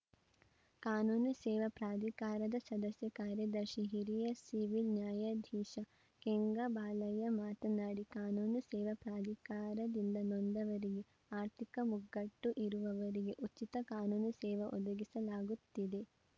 ಕಾನೂನು ಸೇವಾ ಪ್ರಾಧಿಕಾರದ ಸದಸ್ಯ ಕಾರ್ಯದರ್ಶಿ ಹಿರಿಯ ಸಿವಿಲ್‌ ನ್ಯಾಯಾಧೀಶ ಕೆಂಗಬಾಲಯ್ಯ ಮಾತನಾಡಿ ಕಾನೂನು ಸೇವಾ ಪ್ರಾಧಿಕಾರದಿಂದ ನೊಂದವರಿಗೆ ಆರ್ಥಿಕ ಮುಗ್ಗಟ್ಟು ಇರುವವರಿಗೆ ಉಚಿತ ಕಾನೂನು ಸೇವೆ ಒದಗಿಸಲಾಗುತ್ತಿದೆ